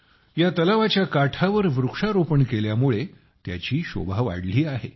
या तलावाच्या काठावर वृक्षारोपण केल्यामुळे त्याची शोभा वाढली आहे